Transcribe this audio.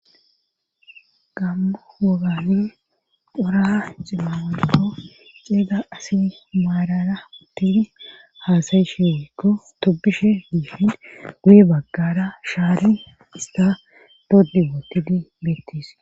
gammu wogani pora ximmawolikko xeeda asi maalara uttini haasayisheekko tobishe diihin guye baggara shaali ista doddi wootidi bettis